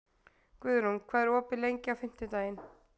Guðrún, hvað er opið lengi á fimmtudaginn?